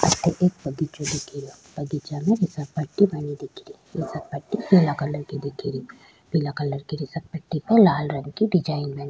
अठे एक बगीचों दिख रो बगीचा में घिसल पट्टी बना दिख री घिसल पट्टी पीला कलर की दिख री पीला कलर की घिसल पट्टी में लाल कलर की डिजाइन बनी --